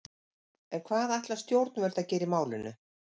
En hvað ætla stjórnvöld að gera í málinu?